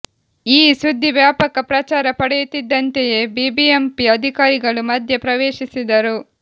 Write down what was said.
ಈ ಸುದ್ದಿ ವ್ಯಾಪಕ ಪ್ರಚಾರ ಪಡೆಯುತ್ತಿದ್ದಂತೆಯೇ ಬಿಬಿಎಂಪಿ ಅಧಿಕಾರಿಗಳು ಮಧ್ಯ ಪ್ರವೇಶಿಸಿದರು